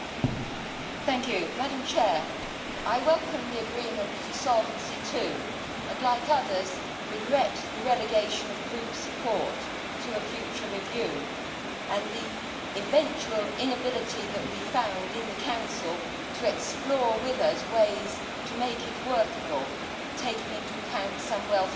Madam President, I welcome the agreement for Solvency II and, like others, I regret the relegation of group support to a future review and the eventual inability on the part of the Council to explore with us ways to make it workable, taking into account some well founded concerns.